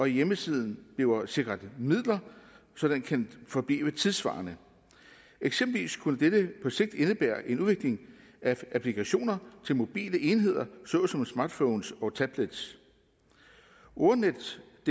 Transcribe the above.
hjemmesiden bliver sikret midler så den kan forblive tidssvarende eksempelvis kunne dette på sigt indebære en udvikling af applikationer til mobile enheder såsom smartphones og tablets ordnetdk